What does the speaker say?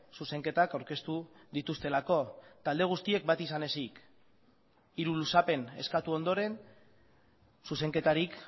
zuzenketak aurkeztu dituztelako talde guztiek bat izan ezik hiru luzapen eskatu ondoren zuzenketarik